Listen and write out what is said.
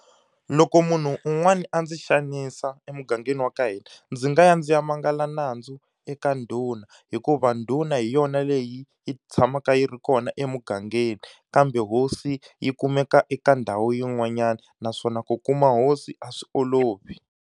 Loko munhu un'wana a ndzi xanisa emugangeni wa ka hina, ndzi nga ya ndzi ya mangala nandzu eka ndhuna. Hikuva ndhuna hi yona leyi yi tshamaka yi ri kona emugangeni kambe hosi yi kumeka eka ndhawu yin'wanyana, naswona ku kuma hosi a swi olovi.